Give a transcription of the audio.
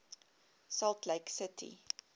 salt lake city